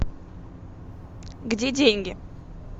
где деньги